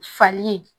Fali